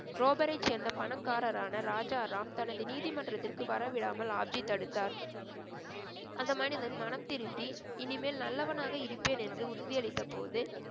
ரோபரை சேர்ந்த பணக்காரரான ராஜாராம் தனது நீதிமன்றத்திற்கு வரவிடாமல் ஆப்ஜி தடுத்தார் அந்த மனிதன் மனம் திருந்தி இனிமேல் நல்லவனாக இருப்பேன் என்று உறுதி அளித்த போது